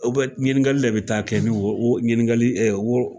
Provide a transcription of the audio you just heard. ɲininkali de bɛ taa kɛ ni woro ɲininkali wɔrɔ